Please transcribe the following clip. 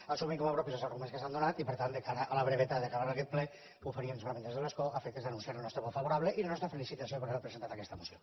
assumim com a propis els arguments que s’han donat i per tant de cara a la brevetat i a acabar aquest ple ho faríem solament des de l’escó a efectes d’anunciar el nostre vot favorable i la nostra felicitació per haver presentat aquesta moció